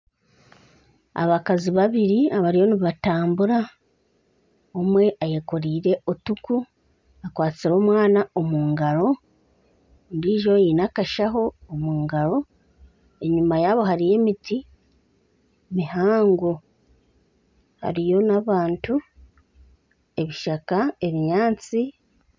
Abakazi babiri abariyo nibatambura omwe ayekoreire enku akwatsire omwana omu ngaro ondijo aine akashaho omu ngaro enyuma yabo hariyo emiti mihango hariyo n'abantu, ebishaka, ebinyaatsi.